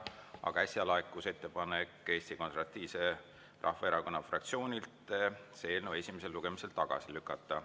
Aga äsja laekus ettepanek Eesti Konservatiivse Rahvaerakonna fraktsioonilt see eelnõu esimesel lugemisel tagasi lükata.